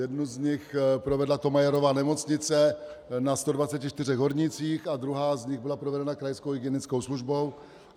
Jednu z nich provedla Thomayerova nemocnice na 124 hornících a druhá z nich byla provedena krajskou hygienickou službou.